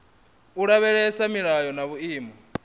u lavhelesa milayo na vhuimo